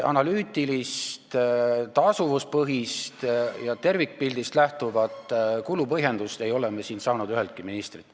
Analüütilist, tasuvuspõhist ja tervikpildist lähtuvat kulu põhjendamist ei ole me siin kuulnud üheltki ministrilt.